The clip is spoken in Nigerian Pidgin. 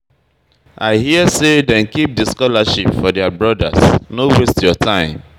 I hear sey dem keep di scholarship for their brodas, no waste your time.